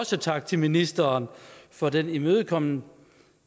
også tak til ministeren for den imødekommenhed